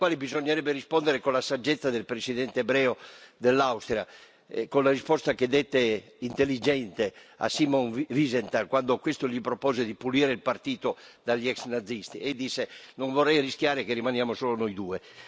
Bisognerebbe rispondere con la saggezza del presidente ebreo dell'Austria, con la risposta intelligente che dette a Simon Wiesenthal, quando questo gli propose di ripulire il partito dagli ex nazisti e disse non vorrei rischiare che rimaniamo solo noi due.